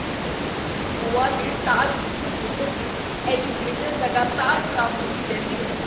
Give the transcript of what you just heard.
ਗੋਆ ਦੇ ਤਾਜ ਵਿਖੇ ਹੋਟਲ ਦੀ ਐਲੀਵੇਟਰ ਲਗਾਤਾਰ ਖ਼ਰਾਬ ਹੁੰਦੀ ਰਹਿੰਦੀ ਹੈ।